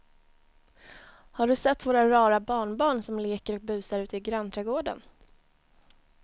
Har du sett våra rara barnbarn som leker och busar ute i grannträdgården!